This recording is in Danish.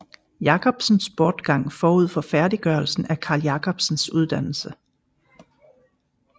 Jacobsens bortgang forud for færddiggørelsen af Carl Jacobsens uddannelse